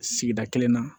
Sigida kelen na